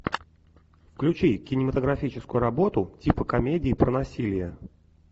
включи кинематографическую работу типа комедии про насилие